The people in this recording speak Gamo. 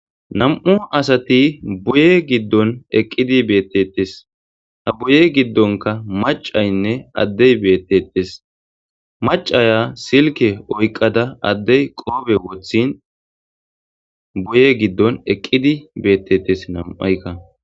Nam"u asati boye giddon eqqidi beettettes. ta boye giddonka macaynne addey beettettes. macaya silke oyqada addey qoobe woththin boye giddon eqqidi beettettes nam7ayka.